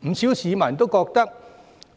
不少市民都覺得，